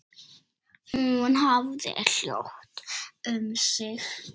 Hún hafði hljótt um sig.